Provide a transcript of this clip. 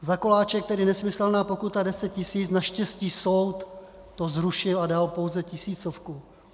Za koláče tedy nesmyslná pokuta 10 tisíc, naštěstí soud to zrušil a dal pouze tisícovku.